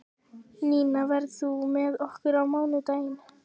Ninna, ferð þú með okkur á mánudaginn?